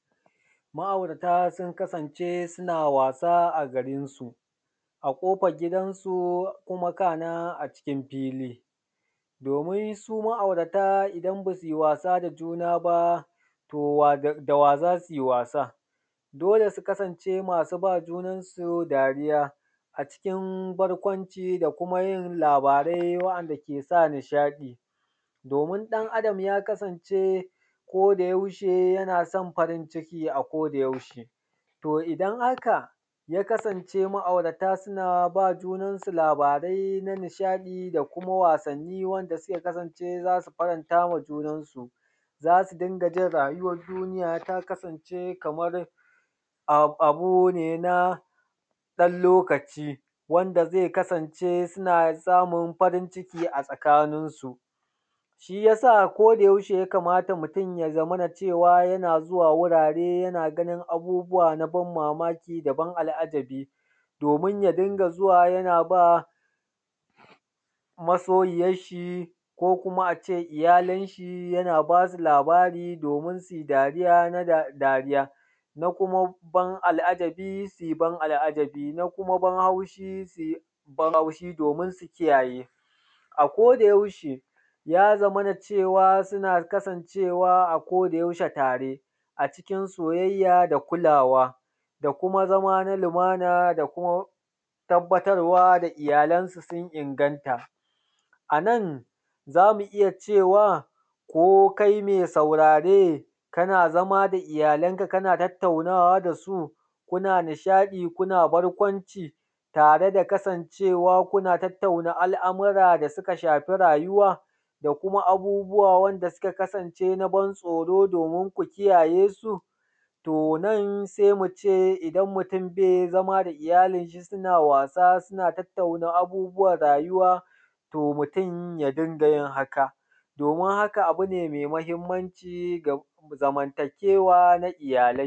Ma'aurata sun kasance suna wasa a garin su, a ƙofar gidansu, kuma kana a cikin fili. Domin su ma'aurata idan ba su yi wasa da juna ba to dawa za su yi wasan? Dole su kasance masu ba junansu dariya a cikin barkwanci da kuma yin labarai wa’anda ke sa nishaɗi domin ɗan Adam ya kasance koda yaushe yana son farin ciki a koda yaushe to idan haka ya kasance ma'aurata suna ba junansu labarai na nishaɗi da kuma wasanni wanda suka kasance za su faranta wa junansu, za su dinga jin rayuwan duniya ta kasance kaman abu ne na ɗan lokaci, wanda zai kasance suna samun farin ciki a tsakaninsu. Shi yasa koda yaushe ya kamata mutun ya zamana cewa yana zuwa wurare yana ganin abubuwa na ban mamaki da ban al’ajabi domin ya dinga zuwa yana ba masoyiyan shi ko kuma a ce iyalan shi yana basu labari domin su yi dariya, na kuma ban al'ajabi, su yi ban al’ajabi, na kuma ban haushi su yi ban haushi domin su kiyaye. A koda yaushe ya zamana cewa suna kasancewa a koda yaushe a tare a cikin soyayya da kulawa da kuma zama na lumana da kuma tabbatar wa da iyalansa sun inganta. Anan zamu iya cewa ko kai mai saurare kana zama da iyalanka kana tattaunawa da su kuna nishaɗi kuna barkwanci tare da kasance kuna tattaunawa al’amara da suka shafi rayuwa da kuma abubuwa wanda suka kasance na ban tsoro domin ku kiyaye su? To nan sai mu ce idan mutun bai zama da iyalin shi suna wasa suna tattauna abubuwan rayuwa to mutun ya dinga yin haka, domin haka abu ne mai mahimmanci ga zamntanewa ta iyalai.